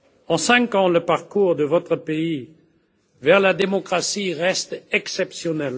En cinq ans, le parcours de votre pays vers la démocratie a été exceptionnel.